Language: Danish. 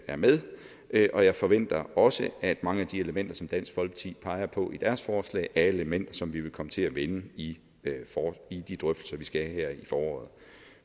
er med og jeg forventer også at mange af de elementer som dansk folkeparti peger på i deres forslag er elementer som vi vil komme til at vende i i de drøftelser vi skal have her i foråret